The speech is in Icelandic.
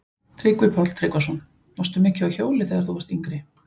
Tryggvi Páll Tryggvason: Varstu mikið á hjóli þegar þú varst yngri?